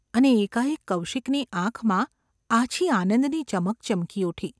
અને એકાએક કૌશિકની આંખમાં આછી આનંદની ચમક ચમકી ઊઠી.